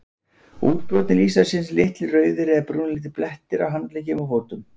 útbrotin lýsa sér sem litlir rauðir eða brúnleitir blettir á handleggjum og fótum